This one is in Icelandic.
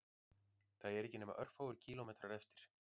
Það eru ekki nema örfáir kílómetrar eftir